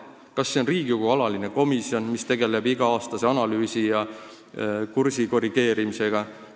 Kas luua Riigikogu alaline komisjon, mis tegeleks iga-aastase analüüsi ja kursi korrigeerimisega?